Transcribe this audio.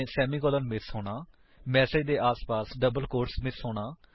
semicolon 160 miss ਹੋਣਾ message ਦੇ ਆਸਪਾਸ ਡਬਲ ਕੋਟਸ ਮਿਸ ਹੋਣਾ